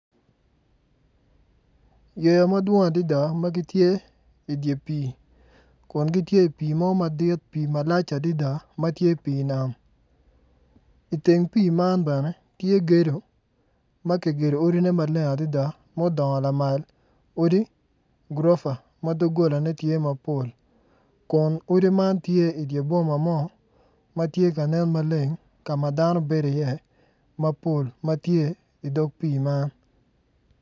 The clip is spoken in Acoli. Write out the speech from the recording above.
Yeya ma gidwong adada ma gitye i dye pii pii malac adada ma tye dye nam i teng pii man bene tye gedu ma kigedu odine maleng adada mudongo lamal odi gurofa ma doggolane tye mapol kun odi man tye i dye boma mo ma tye ka nen maleng ka ma dano bedo iye mapol ma tye i dog pii man.